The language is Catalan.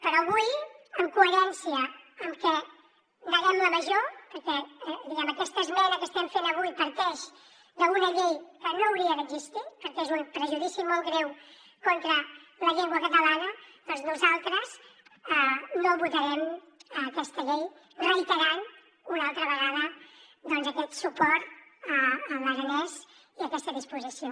però avui en coherència amb que neguem la major perquè diguemne aquesta esmena que estem fent avui parteix d’una llei que no hauria d’existir perquè és un perjudici molt greu contra la llengua catalana doncs nosaltres no votarem aquesta llei reiterant una altra vegada aquest suport a l’aranès i aquesta disposició